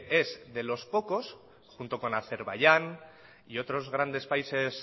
es de los pocos junto con azerbaiyán y otros grandes países